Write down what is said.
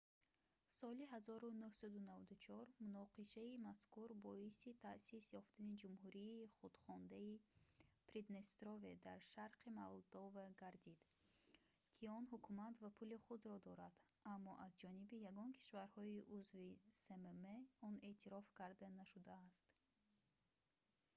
соли 1994 муноқишаи мазкур боиси таъсис ёфтани ҷумҳурии худхондаи приднестрове дар шарқи молдова гардид ки он ҳукумат ва пули худро дорад аммо аз ҷониби ягон кишварҳои узви смм он эътироф карда нашудааст